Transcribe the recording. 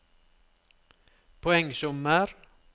poengsummer